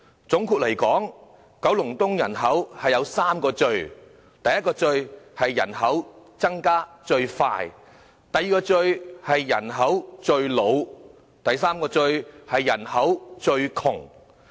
總結而言，九龍東人口有3個"最"：第一個"最"，是人口增長最快；第二個"最"，是人口最老；第三個"最"，是人口最窮。